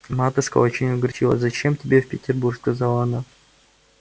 матушка очень огорчилась зачем тебе в петербург сказала она